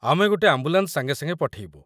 ଆମେ ଗୋଟେ ଆମ୍ବୁଲାନ୍ସ ସାଙ୍ଗେସାଙ୍ଗେ ପଠେଇବୁ।